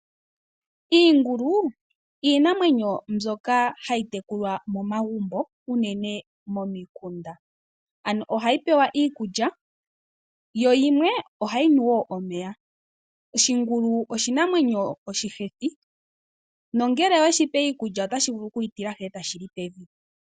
Iingulu iinamwenyo mbyoka hayi tekulwa momagumbo uunene momikunda, ano ohayi pewa iikulya yo yimwe ohayi nu wo omeya . Shingulu oshinamwenyo oshihethi, oshoka ngele oweshi pe iikulya otashi vulu okuyitilahi etashi li pevi.